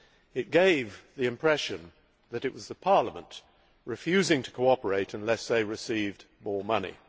It gave the impression that it was the Parliament refusing to cooperate unless they received more money.